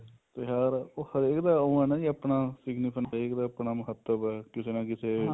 ਤਿਉਹਾਰ ਉਹ ਹਰੇਕ ਦਾ ਉਹ ਏ ਨਾ ਜੀ ਆਪਣਾ ਸੀਗਾ ਹਰੇਕ ਦਾ ਆਪਣਾ ਮਹੱਤਵ ਏ ਕਿਸੇ ਨਾ ਕਿਸੇ